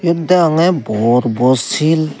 yot degonge bor bor sil.